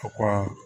O ko